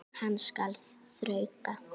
Hann skal þrauka.